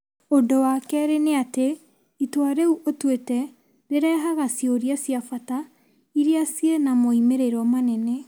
Ũndũ wa kerĩ nĩ atĩ itua rĩu ũtuĩte rĩrehaga ciũria cia bata iria ciĩ na moimĩrĩro manene.